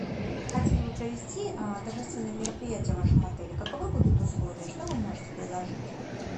хотели бы провести торжественное мероприятие в вашем отеле каковы будут условия что вы можете предложить